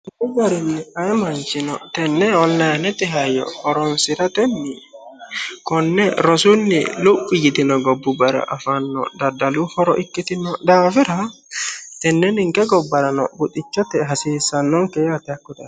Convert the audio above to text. tuqu garinni ayii manchino tenne onlayiinete hayyo horonsiratenni konne rosunni luphi yitino gobbubbara afanno daddalu horo ikkitino daafira tenne ninke gobbarano buxichote hasiissannonke yaate